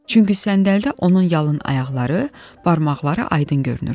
Çünki səndəldə onun yalın ayaqları, barmaqları aydın görünürdü.